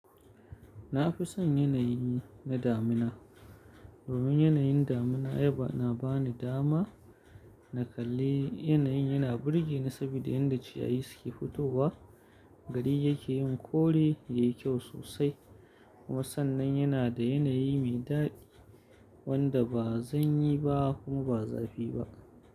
Na fi son yanayi na damina. Domin yanayin damina yaba na ba ni dama na kalli yanayi yana burge ni saboda yadda ciyayi suke fitowa, gari yake yin kore yayi kyau sosai kuma sannan yana da yanayi mai daɗi wanda ba zanyi ba kuma ba zafi ba.